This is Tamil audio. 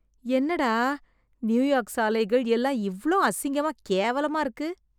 என்னடா, நியூயார்க் சாலைகள் எல்லாம் இவ்ளோ அசிங்கமா கேவலமா இருக்கு...